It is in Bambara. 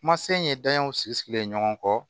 Kuma se in ye danayaw sigilen ye ɲɔgɔn kɔ